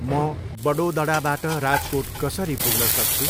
म बडोदडाबाट राजकोट कसरी पुग्न सक्छु?